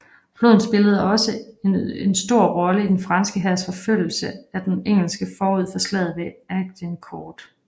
Floden spillede også en stor rolle i den franske hærs forfølgelse af den engelske forud for slaget ved Agincourt